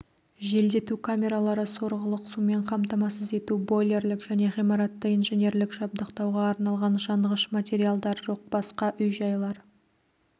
желдету камералары сорғылық сумен қамтамасыз ету бойлерлік және ғимаратты инженерлік жабдықтауға арналған жанғыш материалдар жоқ басқа үй-жайлар